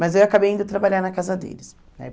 Mas eu acabei indo trabalhar na casa deles né.